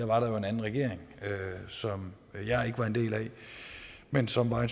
var en anden regering som jeg ikke var en del af men som var en